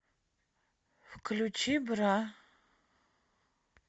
включи бра